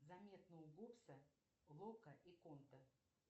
заметно у гобса лока и конта